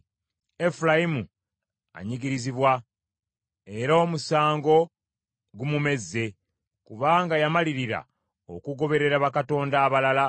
Efulayimu anyigirizibwa, era omusango gumumezze, kubanga yamalirira okugoberera bakatonda abalala.